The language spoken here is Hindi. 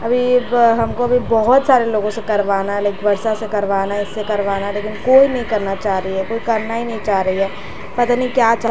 अभी हमको भी बहुत सारे लोगों से करवाना है लाइक वर्षा से करवाना है इससे करवाना है लेकिन कोई नहीं करना चाह रही है कोई करना ही नहीं चाह रही है पता नहीं क्या चल --